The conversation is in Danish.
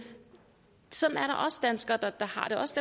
sådan er der også danskere der har det også